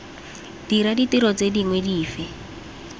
dira ditiro tse dingwe dife